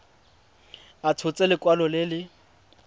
a tshotse lekwalo le le